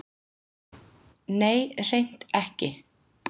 Nei, hreint ekki.